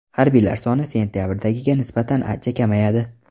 Harbiylar soni sentabrdagiga nisbatan ancha kamayadi.